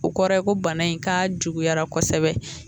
O kɔrɔ ye ko bana in k'a juguyara kosɛbɛ.